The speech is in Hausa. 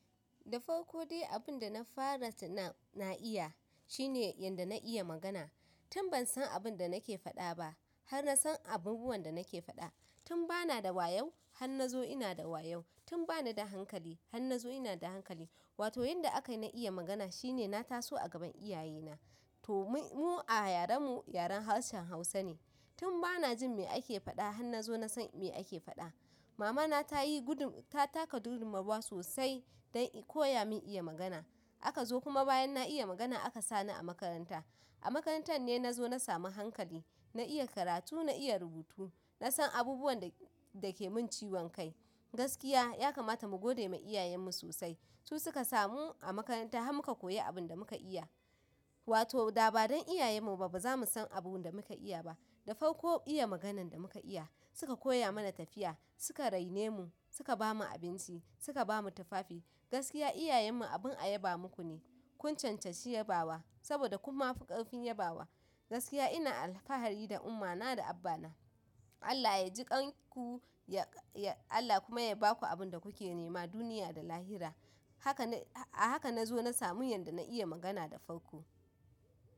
Da farko dai abin da na fara tun na iya shine yanda na iya magana. Tun ban san abin da nake faɗa ba har na san abubuwan da nake faɗa. Tun ba na da wayau, har na zo ina da wayau. Tun ba na da hankali, har na zo ina da hankali. Wato, yanda aka na iya magana shine na taso a gaban iyaye na. To mu a yaren mu, yaren harshen Hausa ne. Tun ba na jin me ake faɗa, har na zo na san me ake faɗa. Mamana ta taka gudunmawa sosai dan ta koya min iya magana akazo kuma bayan na iya magana aka sani a makaranta a makarantar ne na zo na samu hankali, na iya karatu, na iya rubutu, na san abubuwan da ke mun ciwon kai. Gaskiya ya kamata mu gode ma iyayen mu sosai. Su suka sa mu a makaranta har muka koyi abin da muka iya. Wato, da ba don iyayen mu ba ba za mu san abun da muka iya ba. Da farko iya maganan da muka iya. Suka koya mana tafiya, suka raine mu, suka bamu abinci, suka bamu tufafi. Gaskiya iyayen mu abin a yaba muku ne. Kun cancanci yabawa saboda kun mafi ƙarfin yabawa. Gaskiya ina alfahari da umma na da abba na. Allah ya ji kan ku, Allah kuma ya baku abin da kuke nema duniya da lahira. Haka na zo na samu yanda na iya magana da farko.